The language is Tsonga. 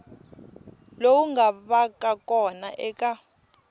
lowu nga vaka kona eka